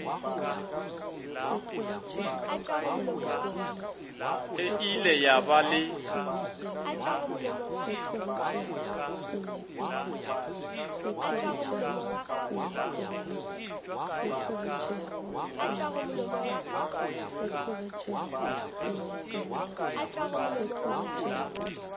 e ile ya ba le